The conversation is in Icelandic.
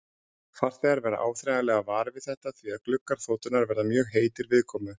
Farþegar verða áþreifanlega varir við þetta því að gluggar þotunnar verða mjög heitir viðkomu.